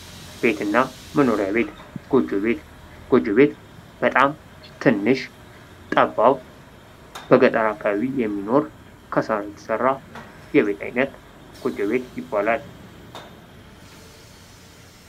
ቤትና መኖሪያ ቤት፡- ጎጆ ቤት በጣም ትንሽ፥ ጠባብ፥ በገጠር አካባቢ የሚኖር፥ ከሳር የተሰራ የቤት ዓይነት ጎጆ ቤት ይባላል።